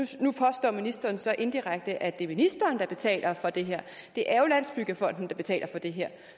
sige nu påstår ministeren så indirekte at det er ministeren der betaler for det her det er jo landsbyggefonden der betaler for det her